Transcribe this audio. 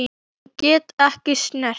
Ég get ekki snert.